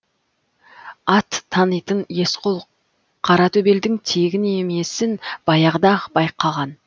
ат танитын есқұл қаратөбелдің тегін емесін баяғыда ақ байқаған